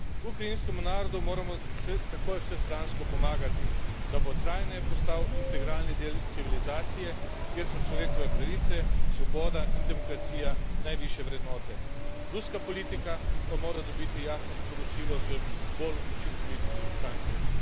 Ukrajinskemu narodu moramo takoj vsestransko pomagati, da bo trajneje postal integralni del civilizacije, kjer so človekove pravice, svoboda in demokracija najvišje vrednote, ruska politika pa mora dobiti jasno sporočilo z bolj učinkovitimi sankcijami.